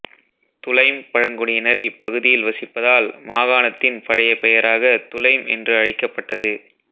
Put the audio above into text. Dulaim பழங்குடியினர் இப்பகுதியில் வசிப்பதால் மாகாணத்தின் பழைய பெயராக துலைம் என்று அழைக்கப்பட்டது